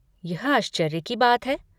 यह आश्चर्य की बात है!